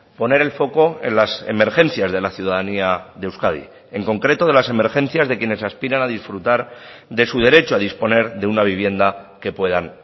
poner el foco en las emergencias de la ciudadanía de euskadi en concreto de las emergencias de quienes aspiran a disfrutar de su derecho a disponer de una vivienda que puedan